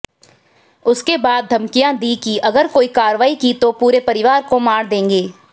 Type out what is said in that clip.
उसके बाद धमकियां दी कि अगर कोई कार्रवाई की तो पूरे परिवार को मार देंगे